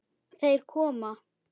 Þeir koma!